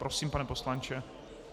Prosím, pane poslanče.